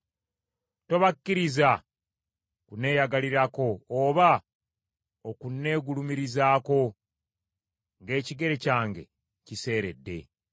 Tobakkiriza kunneeyagalirako, oba okunneegulumirizaako ng’ekigere kyange kiseeredde.